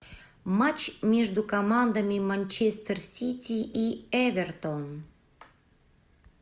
матч между командами манчестер сити и эвертон